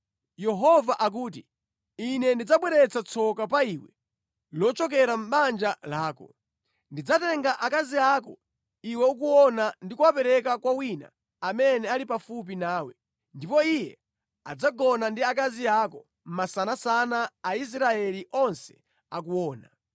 “Yehova akuti, ‘Ine ndidzabweretsa tsoka pa iwe lochokera mʼbanja lako. Ndidzatenga akazi ako iwe ukuona ndi kuwapereka kwa wina amene ali pafupi nawe, ndipo iye adzagona ndi akazi ako masanasana Aisraeli onse akuona.